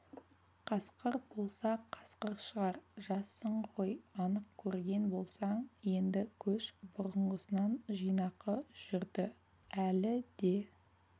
қасқыр болса қасқыр шығар жассың ғой анық көрген болсаң енді көш бұрынғысынан жинақы жүрді әлі де